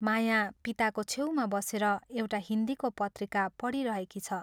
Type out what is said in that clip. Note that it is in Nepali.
माया पिताको छेउमा बसेर एउटा हिन्दीको पत्रिका पढिरहेकी छ।